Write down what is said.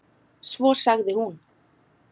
Svo sagði hún